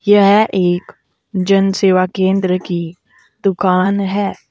यह एक जन सेवा केंद्र की दुकान है।